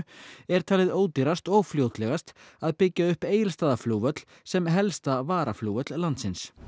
er talið ódýrast og fljótlegast að byggja upp Egilsstaðaflugvöll sem helsta varaflugvöll landsins